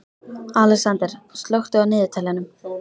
Alexander, slökktu á niðurteljaranum.